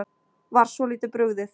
Var svolítið brugðið